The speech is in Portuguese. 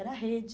Era rede.